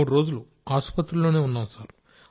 మూడు రోజులు ఆసుపత్రిలోనే ఉన్నాం సార్